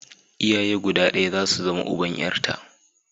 Iyaye guda ɗaya za su zama uban 'yarta.